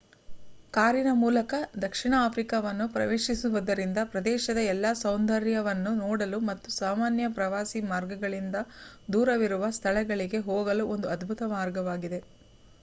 ಕಾರಿನ ಮೂಲಕ ದಕ್ಷಿಣ ಆಫ್ರಿಕಾವನ್ನು ಪ್ರವೇಶಿಸುವುದರಿಂದ ಪ್ರದೇಶದ ಎಲ್ಲಾ ಸೌಂದರ್ಯವನ್ನು ನೋಡಲು ಮತ್ತು ಸಾಮಾನ್ಯ ಪ್ರವಾಸಿ ಮಾರ್ಗಗಳಿಂದ ದೂರವಿರುವ ಸ್ಥಳಗಳಿಗೆ ಹೋಗಲು ಒಂದು ಅದ್ಭುತ ಮಾರ್ಗವಾಗಿದೆ